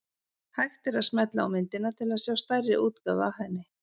Hægt er að smella á myndina til að sjá stærri útgáfu af henni.